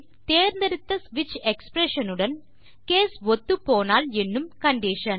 தேர்ந்தெடுத்த ஸ்விட்ச் எக்ஸ்பிரஷன் உடன் கேஸ் ஒத்துப்போனால் என்னும் கண்டிஷன்